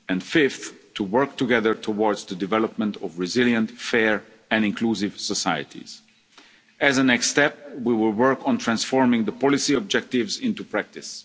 transformation and fifth, to work together towards the development of resilient, fair and inclusive societies. As a next step, we will work on transforming the policy objectives